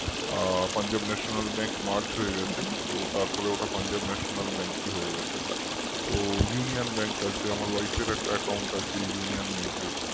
আ punjabnationalbankmerge হয়ে গেছে তো তারপরে ওটা punjabnationalbank ই হয়ে গেছে তো Union Bank আছে আমার wife র একটা account আছে Union Bank এ